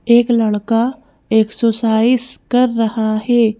एक लड़का एक्सरसाइज कर रहा है।